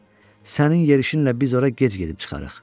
Balu, sənin yerişinlə biz ora gec gedib çıxarıq.